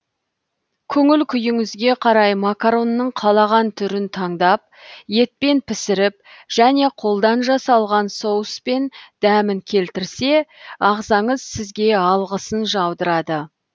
көңіл күйіңізге қарай макаронның қалаған түрін таңдап етпен пісіріп және қолдан жасалған соуспен дәмін келтірсе ағзаңыз сізге алғысын жаудырады